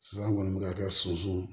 Sisan an kɔni bɛ ka kɛ soso